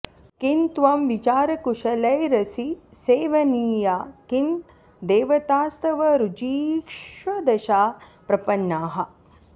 किं त्वं विचारकुशलैरसि सेवनीया किं देवतास्तव ऋजीषदशा प्रपन्नाः